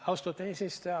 Austatud eesistuja!